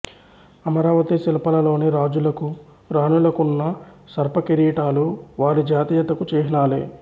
అమరావతీ శిల్పలలోని రాజులకు రాణులకున్న సర్పకిరీటాలు వారి జాతీయతకు చిహ్నలే